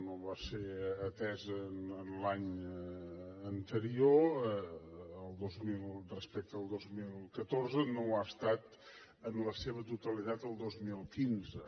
no va ser atesa l’any anterior respecte al dos mil catorze no ho ha estat en la seva totalitat el dos mil quinze